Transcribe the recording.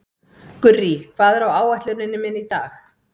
Gurrí, hvað er á áætluninni minni í dag?